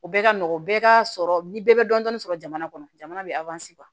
O bɛɛ ka nɔgɔ o bɛɛ ka sɔrɔ ni bɛɛ bɛ dɔndɔni sɔrɔ jamana kɔnɔ jamana bɛ